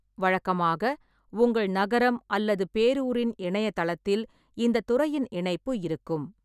வழக்கமாக, உங்கள் நகரம் அல்லது பேரூரின் இணையதளத்தில் இந்தத் துறையின் இணைப்பு இருக்கும்.